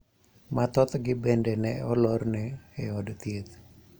Ma thothgi bende ne olorne e od thieth.